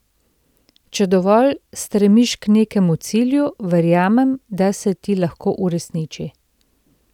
Če dovolj stremiš k nekemu cilju, verjamem, da se ti lahko uresniči.